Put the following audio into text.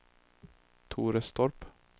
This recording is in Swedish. Torestorp